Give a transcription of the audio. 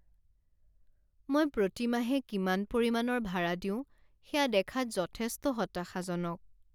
মই প্ৰতি মাহে কিমান পৰিমাণৰ ভাৰা দিওঁ সেয়া দেখাত যথেষ্ট হতাশাজনক।